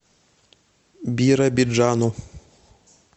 биробиджану